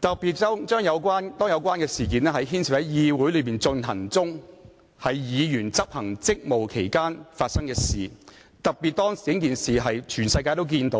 特別是事件是在議會內發生，且在議員執行職務期間發生，更是全球經